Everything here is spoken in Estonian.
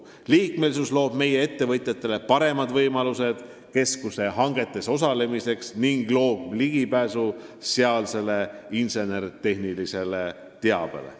Liikmesus loob meie ettevõtjatele paremad võimalused keskuse hangetes osalemiseks ning ligipääsu sealsele insenertehnilisele teabele.